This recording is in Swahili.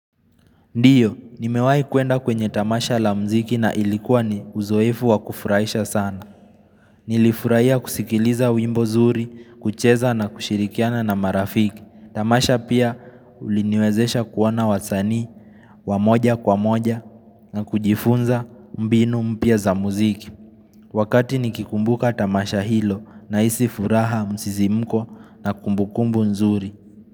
Ndiyo, nimewaai kwenda kwenye tamasha la mziki na ilikuwa ni uzoefu wa kufurahisha sana. Nilifurahia kusikiliza wimbo zuri, kucheza na kushirikiana na marafiki. Tamasha pia uliniwezesha kuona wasanii, wamoja kwa moja na kujifunza mbinu mpya za mziki. Wakati nikikumbuka tamasha hilo nahisi furaha msisimko na kumbukumbu nzuri.